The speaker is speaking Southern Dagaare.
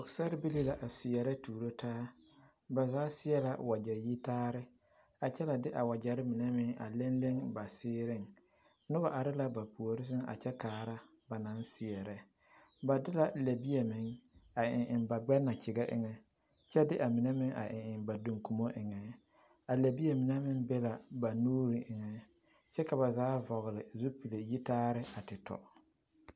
Pɔgesarrebilii la a seɛrɛ tuuro taa ba zaa seɛ la wagyɛ yitaare a kyɛ la de a wagyɛre mine meŋ a leŋ leŋ ba seereŋ, noba are la ba puori seŋ a kyɛ kaara ba naŋ seɛrɛ, ba de lɛbie meŋ a eŋ eŋ ba gbɛnakyegɛ eŋɛ kyɛ de amine meŋ a eŋ ba duŋkumo eŋɛ, a lɛbie mine meŋ be la ba nuuri eŋɛ kyɛ ka ba zaa vɔgele zupili yitaare a te tɔ.